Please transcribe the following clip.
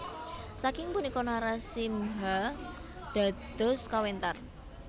Saking punika Narasimha dados kawentar